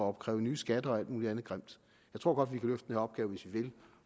opkræve nye skatter og alt muligt andet grimt jeg tror godt